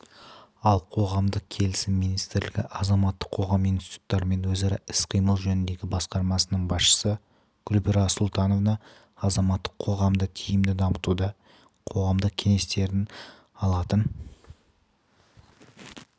ал қоғамдық келісім министрлігі азаматтық қоғам институттарымен өзара іс-қимыл жөніндегі басқармасының басшысы гүлбара сұлтанова азаматтық қоғамды тиімді дамытуда қоғамдық кеңестердің алатын